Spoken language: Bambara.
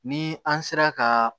Ni an sera ka